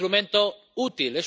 Es un instrumento útil.